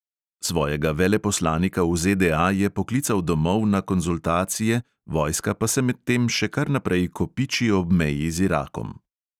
Svojega veleposlanika v ZDA je poklical domov na konzultacije, vojska pa se medtem še kar naprej kopiči ob meji z irakom.